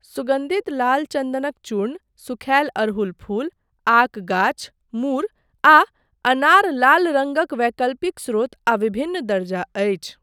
सुगन्धित लाल चन्दनक चूर्ण, सूखायल अड़हुल फूल, आक गाछ, मूर, आ अनार लाल रङ्गक वैकल्पिक स्रोत आ विभिन्न दर्जा अछि।